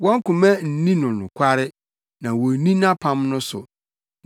wɔn koma nni no nokware, na wonni nʼapam no so.